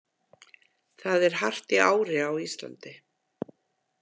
Það er hart í ári á Íslandi.